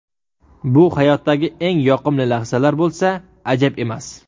Bu hayotdagi eng yoqimli lahzalar bo‘lsa, ajab emas!